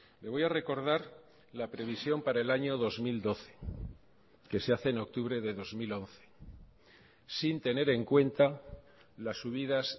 le voy a recordar la previsión para el año dos mil doce que se hace en octubre de dos mil once sin tener en cuenta las subidas